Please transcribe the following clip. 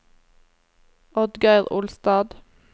Oddgeir Olstad